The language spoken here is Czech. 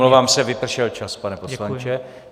Omlouvám se, vypršel čas, pane poslanče.